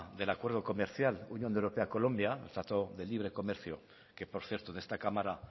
del acuerdo comercial unión europea colombia trato de libre comercio que por cierto en esta cámara